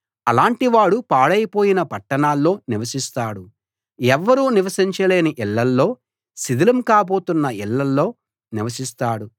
అలాంటివాడు పాడైపోయిన పట్టణాల్లో నివసిస్తాడు ఎవ్వరూ నివసించలేని ఇళ్ళలో శిథిలం కాబోతున్న ఇళ్ళలో నివసిస్తాడు